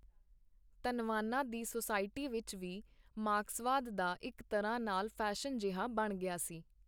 ਧੰਨਵਾਨਾਂ ਦੀ ਸੁਸਾਇਟੀ ਵਿਚ ਵੀ ਮਾਰਕਸਵਾਦ ਦਾ ਇਕ ਤਰ੍ਹਾਂ ਨਾਲ ਫੈਸ਼ਨ ਜਿਹਾ ਬਣ ਗਿਆ ਸੀ.